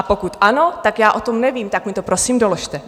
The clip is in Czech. A pokud ano, tak já o tom nevím, tak mi to prosím doložte.